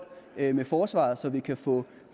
med forsvaret så vi kan få